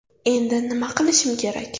Endi nima qilishim kerak?